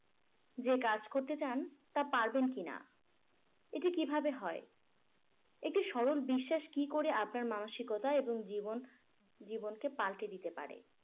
যে কাজ করতে চান তা পারবেন কিনা এটি কিভাবে হয় একটি সরল বিশ্বাস কি করে আপনার মানসিকতা এবং জীবন জীবনকে পাল্টে দিতে পারে